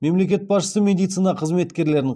мемлекет басшысы медицина қызметкерлерін